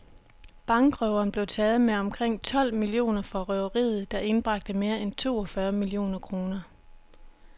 Bankrøveren blev taget med omkring tolv millioner fra røveriet, der indbragte mere end to og fyrre millioner kroner.